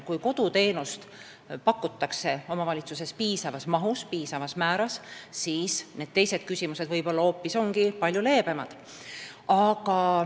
Kui koduteenust pakutakse omavalitsuses piisaval määral, on võib-olla ka teistes küsimustes seis palju leebem.